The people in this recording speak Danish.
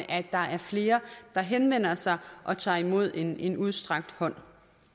at der er flere der henvender sig og tager imod en en udstrakt hånd